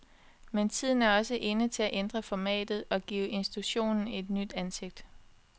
Men tiden er også inde til at ændre formatet og give institutionen et nyt ansigt.